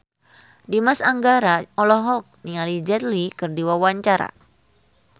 Dimas Anggara olohok ningali Jet Li keur diwawancara